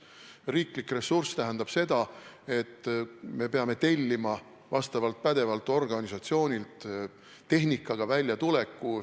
Riiklik ressurss tähendab seda, et me peame tellima vastavalt pädevalt organisatsioonilt tehnikaga väljatuleku.